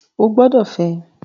Ó gbọ́dọ̀ fẹ́!